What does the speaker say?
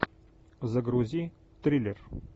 загрузи триллер